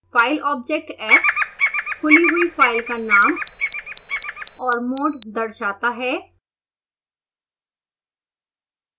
file object f खुली हुई file का नाम और mode दर्शाता है